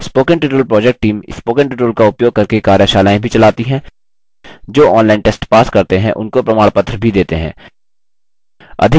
spoken tutorial project team: spoken tutorial का उपयोग करके कार्यशालाएँ भी चलाती है जो online test pass करते हैं उनको प्रमाणपत्र भी देते हैं